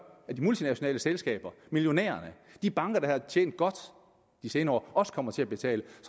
at de multinationale selskaber millionærerne de banker der har tjent godt de senere år kommer til at betale